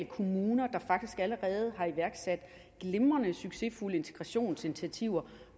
kommuner der faktisk allerede har iværksat glimrende succesfulde integrationsinitiativer